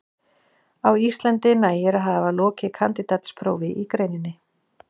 Á Íslandi nægir að hafa lokið kandídatsprófi í greininni.